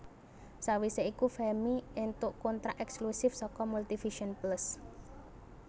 Sawise iku Femmy éntuk kontrak ekslusif saka Multivision Plus